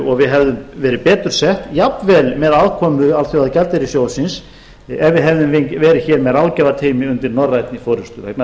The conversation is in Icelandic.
og við hefðum verið betur sett jafnvel með aðkomu alþjóðagjaldeyrissjóðsins ef við hefðum verið hér með ráðgjafateymi undir norrænni forustu vegna þess að það hefði